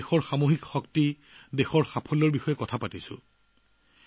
মন কী বাতে দেশৰ সামূহিক শক্তি দেশৰ ধাৰণাৰ কথা কয়